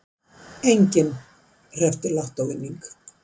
Enginn hreppti lottóvinning